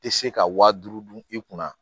Tɛ se ka wa duuru dun i kunna